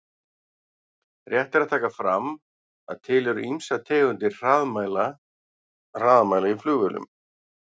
Rétt er að taka fram að til eru ýmsar tegundir hraðamæla í flugvélum.